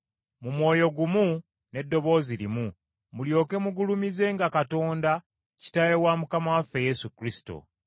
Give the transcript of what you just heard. mu mwoyo gumu n’eddoboozi limu mulyoke mugulumizenga Katonda, Kitaawe wa Mukama waffe Yesu Kristo.